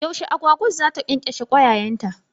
Yaushe agwagwan za ta ƙyanƙyashe kwayayenta?